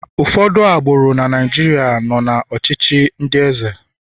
ụfọdụ agbụrụ na Naijiria nọ na ọchịchị ndi eze